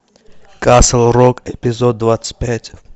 касл рок эпизод двадцать пять